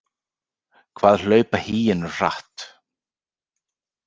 Hvað hlaupa hýenur hratt?